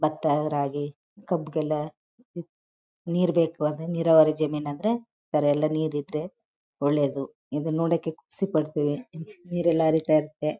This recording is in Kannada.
ಭತ್ತ ರಾಗಿ ಕಬ್ಬಿಗೆಲ್ಲ ನೀರ್ ಬೇಕು ನೀರಾವರಿ ಜಮೀನ್ ಅಂದ್ರೆ ಎಲ್ಲ ನೀರಿದ್ರೆ ಒಳ್ಳೆಯದು ಇನ್ನ ನೋಡಕ್ಕೆ ಕುಸಿಪಡ್ತಿವಿ ನೀರಲ್ಲ ಹರಿತ ಇರುತ್ತದೆ.